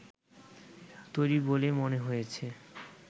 তৈরি বলেই মনে হয়েছে